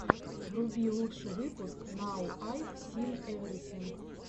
вруби лучший выпуск нау айв син эврисинг